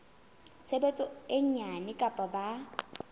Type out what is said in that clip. tshebetso e nyane kapa ba